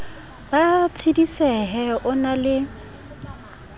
ba tshedisehe o na le